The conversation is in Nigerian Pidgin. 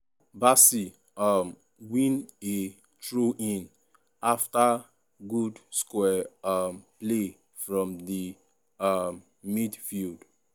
bassey um win a throw-in afta good square um play from di um midfield.